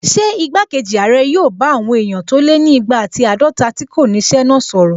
Ṣé igbákejì ààrẹ yóò bá àwọn èèyàn tó lé ní igba ati àádọta tí kò ní ṣẹ́ náà sọ̀rọ̀?